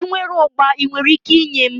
I nwere ụgba, I nwere ike inye m?